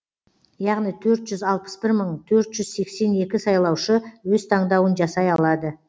яғни төрт жүз алпыс бір мың төрт жүз сексен екі сайлаушы өз таңдауын жасай алады